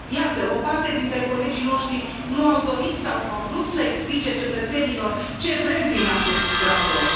Iată, o parte dintre colegii noștri nu au dorit, sau nu au vrut să explice cetățenilor ce vrem prin acest raport.